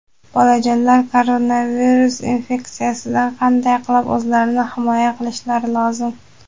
Bolajonlar koronavirus infektsiyasidan qanday qilib oʼzlarini himoya qilishlari lozim?.